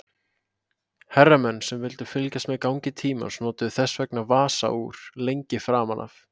Herramenn sem vildu fylgjast með gangi tímans notuðu þess vegna vasaúr lengi framan af.